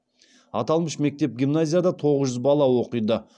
аталмыш мектеп гимназияда тоғыз жүз бала оқиды